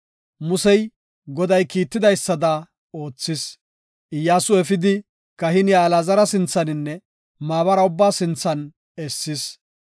Musey Goday kiitidaysada oothis; Iyyasu efidi, kahiniya Alaazara sinthaninne maabara ubbaa sinthan essis.